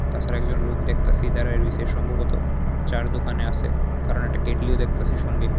তাছাড়া একজন লোক দেখতাছি দাঁড়ায় রইছে সম্ভবত চা'র দোকানে আছে কারণ একটা কেটলিও দেখতাছি সঙ্গে।